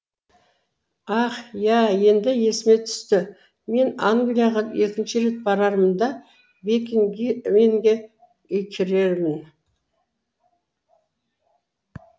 ах иә енді есіме түсті мен англияға екінші рет барамын да бекингэмге кіремін